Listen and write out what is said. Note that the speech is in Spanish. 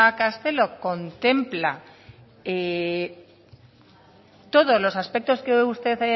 castelo contempla todos los aspectos que usted